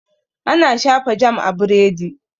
Ana shafa jam a biredi.